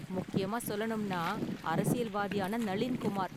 முக்கியமா சொல்லணும்னா அரசியல்வாதியான நளீன் குமார்.